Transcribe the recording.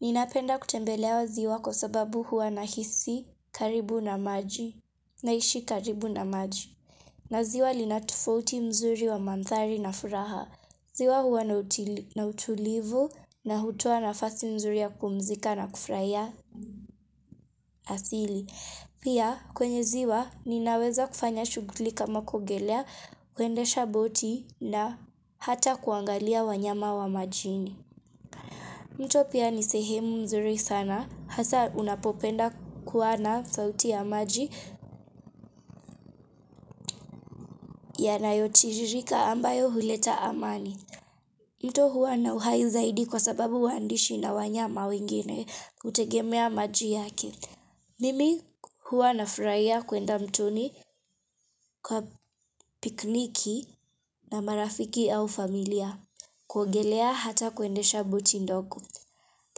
Ninapenda kutembelea ziwa kwa sababu huwa nahisi karibu na maji naishi karibu na maji na ziwa linatofauti mzuri wa mandhari na furaha ziwa huwa na utulivu na hutoa nafasi nzuri ya kupumzika na kufurahia asili Pia kwenye ziwa ninaweza kufanya shughuli kama kuogelea, kwendesha boti na hata kuangalia wanyama wa majini mto pia ni sehemu nzuri sana, hasa unapopenda kuwa na sauti ya maji yanayotiririka ambayo huleta amani. Mto huwa na uhai zaidi kwa sababu waandishi na wanyama wengine hutegemea maji yake. Mimi huwa nafurahia kwenda mtoni kwa pikniki na marafiki au familia, kuogelea hata kuendesha boti ndogo.